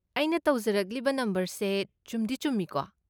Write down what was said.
ꯑꯩꯅ ꯇꯧꯖꯔꯛꯂꯤꯕ ꯅꯝꯕꯔꯁꯦ ꯆꯨꯝꯗꯤ ꯆꯨꯃꯤꯀꯣ꯫